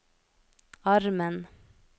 armen